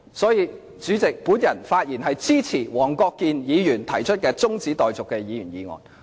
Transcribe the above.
所以，主席，我發言支持黃國健議員提出的中止待續議案。